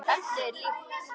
Efnið er líkt.